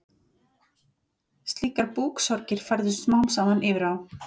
Slíkar búksorgir færðust smám saman yfir á